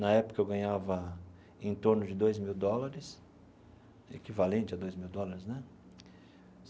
Na época, eu ganhava em torno de dois mil dólares, equivalente a dois mil dólares, né?